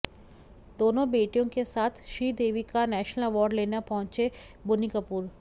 दोनों बेटियों के साथ श्रीदेवी का नेशनल अवॉर्ड लेने पहुंचे बोनी कपूर